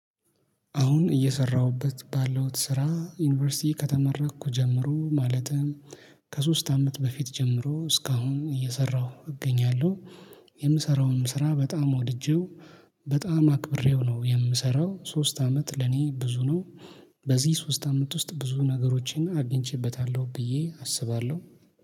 አሁን እየሰራሁበት ባለው ስራ ዩኒቨርሲቲ ከተመራኩ ጀምሮ ማለትም ከሶስት አመት በፊት ጀምሮ እስካሁን እየሰራሁ እገኛለሁ። የምሰራውንም ስራ በጣም ወድጄው በጣም አክብሬው ነው የምሰራው ሶስት አመት ለኔ ብዙ ነው። በዚህ ሶስት አመት ውስጥ ብዙ ነገሮቼና አግኝቼበታለሁ ብዬ አስባለሁ